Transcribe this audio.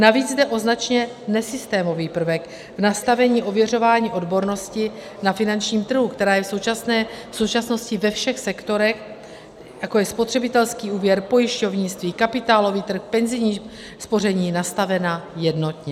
Navíc jde o značně nesystémový prvek v nastavení ověřování odbornosti na finančním trhu, která je v současnosti ve všech sektorech, jako je spotřebitelský úvěr, pojišťovnictví, kapitálový trh, penzijní spoření, nastavena jednotně.